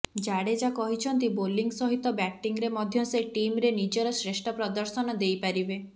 ଜାଡ଼େଜା କହିଛନ୍ତି ବୋଲିଂ ସହିତ ବ୍ୟାଟିଂରେ ମଧ୍ୟ ସେ ଟିମରେ ନିଜର ଶ୍ରେଷ୍ଠ ପ୍ରଦର୍ଶନ ଦେଇପାରିବେ